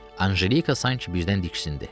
Ancelika sanki birdən diksindi.